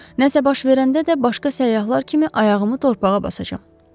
Nəsə baş verəndə də başqa səyyahlar kimi ayağımı torpağa basacam.